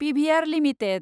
PVR limited